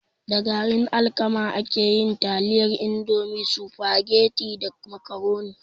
Da garin alkama ake yin taliyan indomie, sufageti da macaroni